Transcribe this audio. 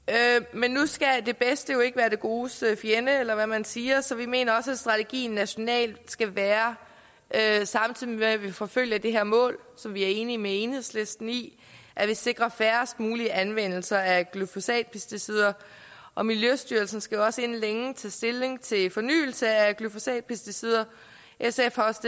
men nu skal det bedste jo ikke være det godes fjende eller hvad man siger så vi mener også at strategien nationalt skal være samtidig med at vi forfølger det her mål som vi er enige med enhedslisten i at vi sikrer færrest mulige anvendelser af glyfosatpesticider og miljøstyrelsen skal også inden længe tage stilling til fornyelse af glyfosatpesticider sf har også